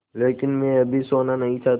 लेकिन मैं अभी सोना नहीं चाहता